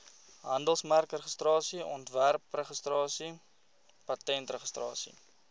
handelsmerkregistrasie ontwerpregistrasie patentregistrasie